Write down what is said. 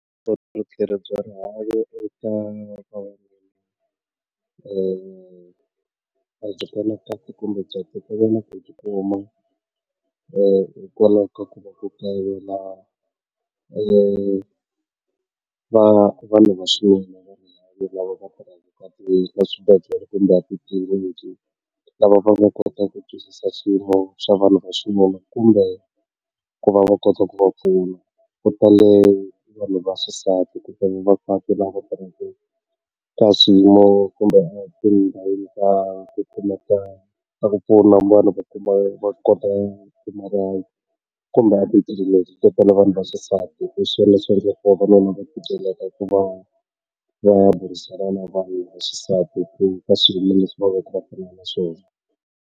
Vuphakeri bya rihanyo eka hikwalaho ka ku va ku kayivela va vanhu va swiyimo lava va ngo kota ku twisisa swiyimo swa vanhu vaxinuna kumbe ku va va va kota ku va pfuna ku ta le vanhu vaxisati kasi .